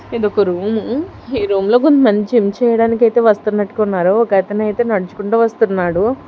ఇది ఒక రూము ఈ రూములో కొంతమంది జిమ్ చేయడానికి ఐతే వస్తున్నట్టుగున్నారు ఒక అతనైతే నడుచుకుంట వస్తున్నాడు.